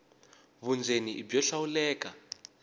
vundzeni i byo hlawuleka